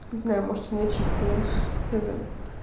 не знаю может он очистил он не знаю